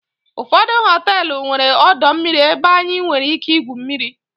ụfọdụ họteelụ nwere ọdọ mmiri ebe anyị nwere ike igwu mmiri